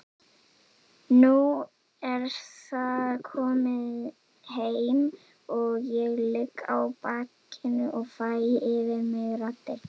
Nú er það komið heim og ég ligg á bakinu og fæ yfir mig raddirnar.